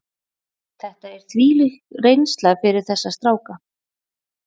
Þetta er þvílík reynsla fyrir þessa stráka.